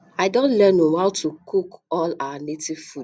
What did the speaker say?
I don learn how to cook all our native food